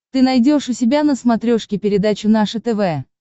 ты найдешь у себя на смотрешке передачу наше тв